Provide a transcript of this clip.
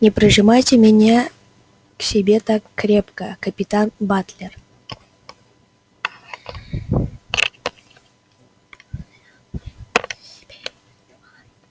не прижимайте меня к себе так крепко капитан батлер